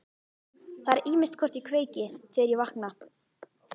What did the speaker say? Það er ýmist hvort ég kveiki, þegar ég vakna.